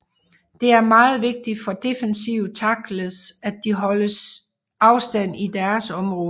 Det er meget vigtigt for defensive tackles at de holder stand i deres område